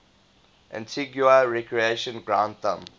antigua recreation ground thumb